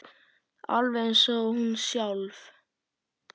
Alveg eins og hún sjálf.